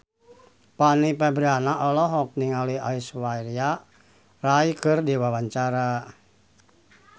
Fanny Fabriana olohok ningali Aishwarya Rai keur diwawancara